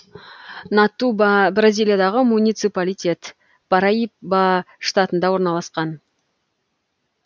натуба бразилиядағы муниципалитет параиба штатында орналасқан